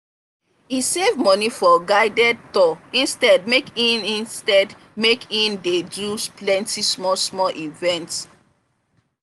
e save money for guided tour instead make e instead make e dey do plenty small-small events.